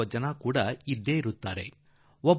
ಕೊಳ್ಳುವ ಜನರೂ ಬಂದಿದ್ದಾರೆ